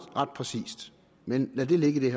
ret præcist men lad det ligge i